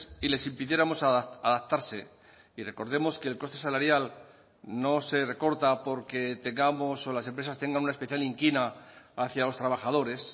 y les impidiéramos adaptarse y recordemos que el coste salarial no se recorta porque tengamos o las empresas tengan una especial inquina hacia los trabajadores